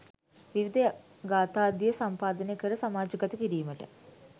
විවිධ ගාථාදිය සම්පාදනය කර සමාජගත කිරීමට